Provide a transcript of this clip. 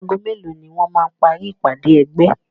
Ago mélòó ni wọ́n máa parí ìpádé ẹgbẹ́?